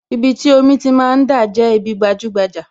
Ibi tí omi ti máa ń dà, jẹ́ ibi gbajúgbajà